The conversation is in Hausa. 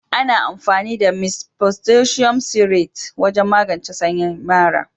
Ana amfani da "mist potassium citrate" wajen magance sanyin mara.